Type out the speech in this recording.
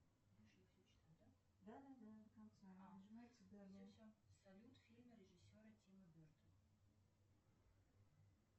салют фильмы режиссера тима берта